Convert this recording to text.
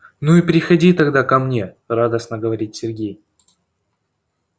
ну и приходи тогда ко мне радостно говорит сергей